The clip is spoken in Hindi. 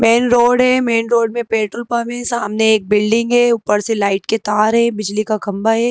मेन रोड है मेन रोड में पेट्रोल पंप है सामने एक बिल्डिंग है ऊपर से लाइट के तार है बिजली का खंभा है।